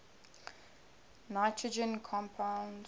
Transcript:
nitrogen compounds